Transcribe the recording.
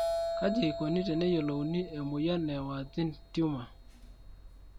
kaji eikoni teneyiolouni e moyian e Warthin tumor?